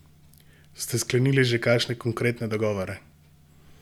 Ste sklenili že kakšne konkretne dogovore?